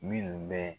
Minnu bɛ